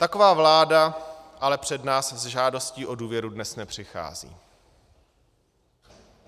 Taková vláda ale před nás s žádostí o důvěru dnes nepřichází.